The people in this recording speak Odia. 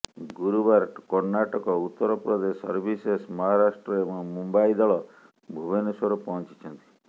ଗୁରୁବାର କର୍ଣ୍ଣାଟକ ଉତ୍ତରପ୍ରଦେଶ ସର୍ଭିସେସ ମହାରାଷ୍ଟ୍ର ଏବଂ ମୁମ୍ୱାଇ ଦଳ ଭୁବନେଶ୍ୱର ପହଞ୍ଚିଛନ୍ତି